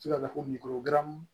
Ti ka fɔ kungo